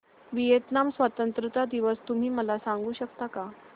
Vietnam स्वतंत्रता दिवस तुम्ही मला सांगू शकता का